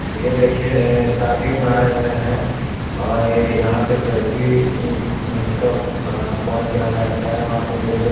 यह देखिए शादी में आये हुए है और यहाँ पे सेल्फी स्टॉप पॉइंट बनाया जाता है। वहाँ पे ये लोग --